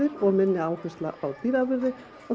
og minni áherslu á dýraafurðir og þá